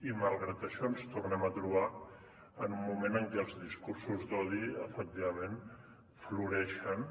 i malgrat això ens tornem a trobar en un moment en què els discursos d’odi efectivament floreixen